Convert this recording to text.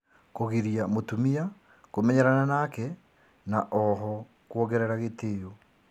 Kũgiria mũtumia kũmenyerana nake na oho kuongerera gĩtĩo